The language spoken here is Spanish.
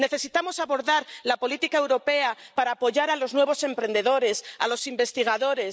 Necesitamos abordar la política europea para apoyar a los nuevos emprendedores, a los investigadores.